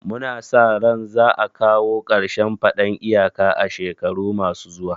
Mu na sa ran za a kawo karshen faɗan iyaka a shekaru ma su zuwa